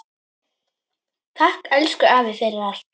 Takk, elsku afi, fyrir allt.